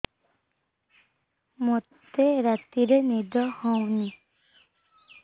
ମୋତେ ରାତିରେ ନିଦ ହେଉନି